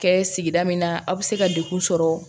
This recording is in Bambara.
Kɛ sigida min na aw bɛ se ka degun sɔrɔ